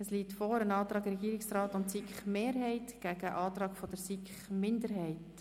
Es liegen vor: ein Antrag des Regierungsrats und der SiKMehrheit und ein Antrag der SiK-Minderheit.